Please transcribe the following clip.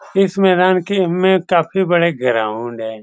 इस मैदान के में काफी बड़े ग्राउंड है।